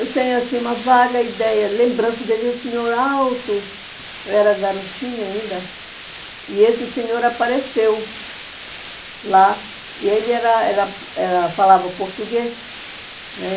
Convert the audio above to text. Eu tenho assim uma vaga ideia, lembrança dele, um senhor alto, eu era garotinha ainda, e esse senhor apareceu lá, e ele era era era falava português.